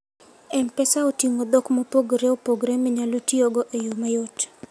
M-Pesa oting'o dhok mopogore opogore minyalo tiyogo e yo mayot.